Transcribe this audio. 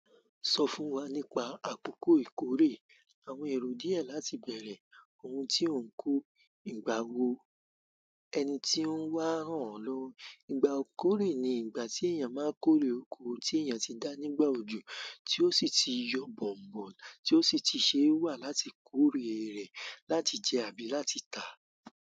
Sọ fún wa nípa àkókò ìkórè, àwọn èrò díẹ̀ láti bẹ̀rẹ̀, ohun tí ó ń kó, ìgbà wo ẹni tí ó ń wá hàn lówo. Ìgbà ìkórè ni ìgbà tí èèyàn máa ń kórè oko tí èèyàn ti dá nígbà òjò, tí ó sì ti yọ bọ̀n-bọ̀n, tí ó sì ti ṣe wà láti kórè rẹ̀, láti jẹ àbí láti tà.